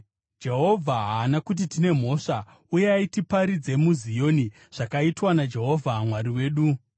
“ ‘Jehovha akati hatina mhosva; uyai, tiparidze muZioni zvakaitwa naJehovha Mwari wedu.’